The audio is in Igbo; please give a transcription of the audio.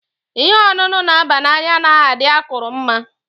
Ìhè ọṅụṅụ na aba n'anya anaghị adị akụrụ mma.